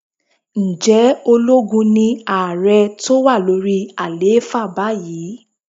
Ǹjẹ́ ológun ni ààrẹ tó wà lórí àlééfà báyìí?